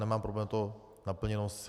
Nemám problém s tou naplněností.